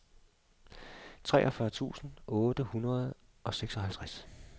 treogfyrre tusind otte hundrede og seksoghalvtreds